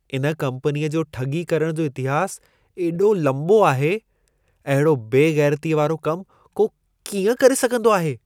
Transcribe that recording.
इन कम्पनीअ जो ठॻी करण जो इतिहास एॾो लंबो आहे। अहिड़ो बे ग़ैरतीअ वारो कम को कींअं करे सघंदो आहे?